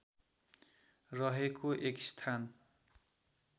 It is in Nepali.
रहेको एक स्थान